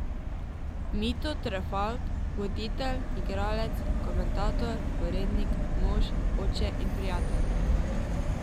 Mito Trefalt, voditelj, igralec, komentator, urednik, mož, oče in prijatelj.